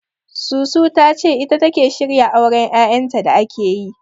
Susu ta ce ita take shirya auren Yayanta da ake yi..